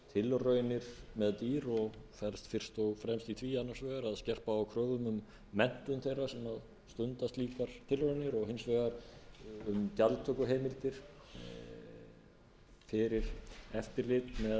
tilraunir með dýr og felst fyrst og fremst í því annars vegar að skerpa á kröfum um menntun þeirra sem stunda slíkar tilraunir og hins vegar um gjaldtökuheimildir fyrir eftirlit með